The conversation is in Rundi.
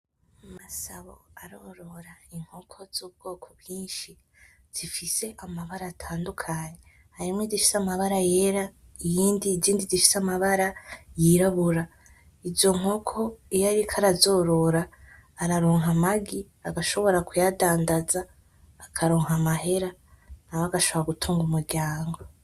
Masabo arorora inkoko z'ubwoko bwinshi zifise amabara atandukanye harimwo izifise amabara yera izindi zifise amabara y'irabura izo nkoko iyo ariko arazorora araronka amagi agashobora kuyadandaza akaronka amahera nawe agashbora gutunga umuryango.